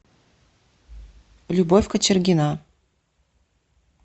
любовь кочергина